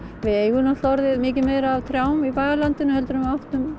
við eigum náttúrulega miklu meira af trjám í bæjarlandinu en við áttum